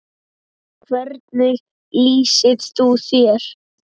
Hvernig lýsir þú þér?